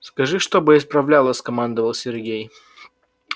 скажи чтобы исправляла скомандовал сергей